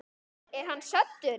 Er hann saddur?